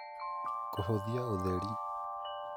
kũhũthia ũtheri